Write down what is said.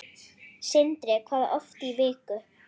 Sindri: Hvað oft í viku?